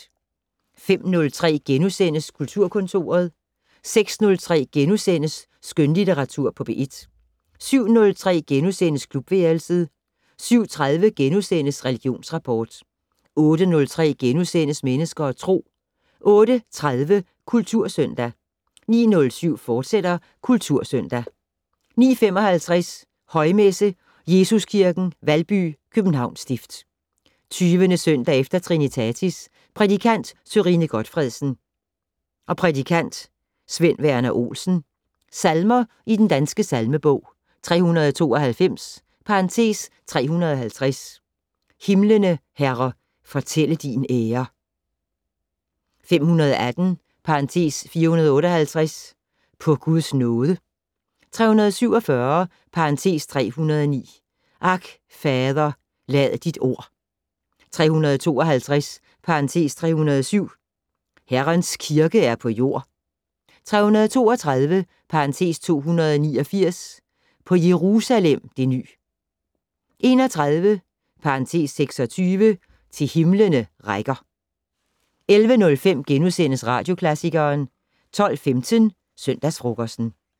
05:03: Kulturkontoret * 06:03: Skønlitteratur på P1 * 07:03: Klubværelset * 07:30: Religionsrapport * 08:03: Mennesker og Tro * 08:30: Kultursøndag 09:07: Kultursøndag, fortsat 09:55: Højmesse - Jesuskirken, Valby, Københavns stift. 20. søndag efter trinitatis. Prædikant: Sørine Gotfredsen. Prædikant: Svend Verner Olsen. Salmer i Den Danske Salmebog: 392 (350) "Himlene, Herre, fortælle din ære". 518 (458) "På Guds nåde". 347 (309) "Ak, Fader, lad dit ord". 352 (307) "Herrens kirke er på jord". 332 (289) "På Jerusalem det ny". 31 (26) "Til himlene rækker". 11:05: Radioklassikeren * 12:15: Søndagsfrokosten